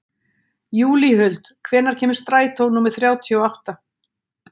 Júlíhuld, hvenær kemur strætó númer þrjátíu og átta?